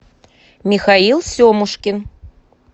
михаил семушкин